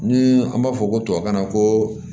Ni an b'a fɔ ko tubabukan na ko